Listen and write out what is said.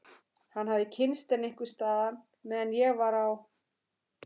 Hann hafði kynnst henni einhvers staðar meðan ég var á